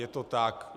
Je to tak.